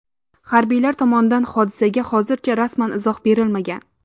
Harbiylar tomonidan hodisaga hozircha rasman izoh berilmagan.